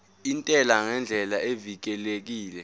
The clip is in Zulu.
intela ngendlela evikelekile